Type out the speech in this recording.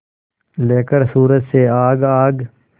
लेकर सूरज से आग आग